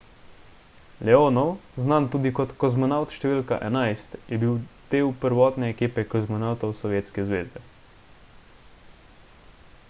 leonov znan tudi kot kozmonavt št. 11 je bil del prvotne ekipe kozmonavtov sovjetske zveze